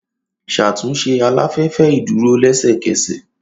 Ṣatunṣe alafẹfẹ iduro lẹsẹkẹsẹ!